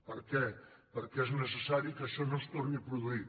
per què perquè és neces·sari que això no es torni a produir